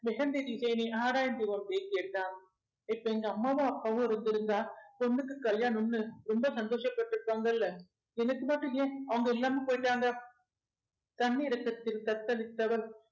mehndi design ஐ ஆராய்ந்து கொண்டே கேட்டான் இப்ப எங்க அம்மாவும் அப்பாவும் இருந்திருந்தா பொண்ணுக்கு கல்யாணம்ன்னு ரொம்ப சந்தோஷப்பட்டிருப்பாங்கல்ல எனக்கு மட்டும் ஏன் அவங்க இல்லாம போயிட்டாங்க தன்னிரக்கத்தில் தத்தளித்தவள்